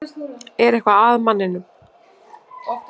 Er eitthvað að manninum?